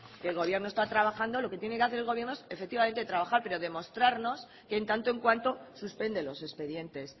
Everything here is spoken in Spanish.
que el gobierno está trabajando lo que tiene que hacer el gobierno es efectivamente trabajar pero demostrarnos que en tanto en cuanto suspende los expedientes